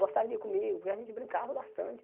Gostava de ir comigo, porque a gente brincava bastante.